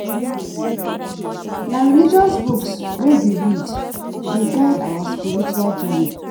Na religious books wey we read dey guide our spiritual journey.